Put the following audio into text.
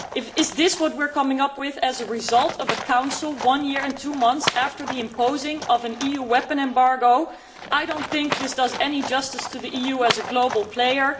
Is this what we are coming up with as a result of a Council, one year and two months after the imposition of an EU arms embargo? I do not think this does any justice to the EU as a global player.